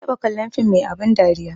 Ma taɓa kallon film mai abun dariya